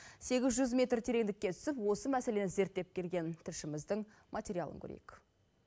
сегіз жүз метрге тереңдікке түсіп осы мәселені зерттеп келген тілшіміздің материалын көрейік